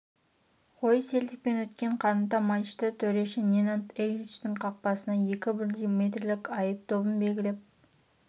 ғой селтикпен өткен қарымта матчта төреші ненад эричтің қақпасына екі бірдей метрлік айып добын белгілеп